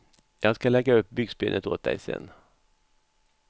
Jag ska lägga upp byxbenet åt dig sen.